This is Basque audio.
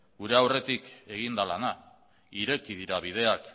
gure aurretik egin da lana ireki dira bideak